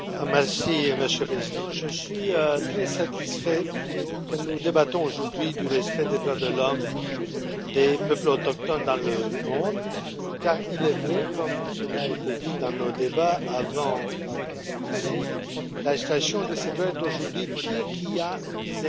Monsieur le Président, je suis très satisfait que nous débattions aujourd'hui du respect des droits de l'homme des peuples autochtones dans le monde, car il est vrai, comme cela a été dit dans nos débats avant celui ci, que la situation de ces droits est aujourd'hui pire qu'il y a une dizaine d'années